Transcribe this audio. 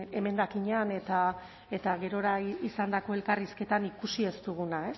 emendakinean eta gerora izandako elkarrizketan ikusi ez duguna